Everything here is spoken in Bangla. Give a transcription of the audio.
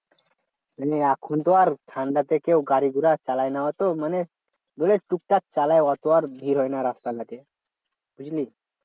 মানে এখন তো আর ঠান্ডাতে কেউ গাড়ি ঘোড়া চালায় না অত মানে ধরলে টুকটাক চালায় অতো আর ভিড় হয় না রাস্তা ঘাটে বুঝলি?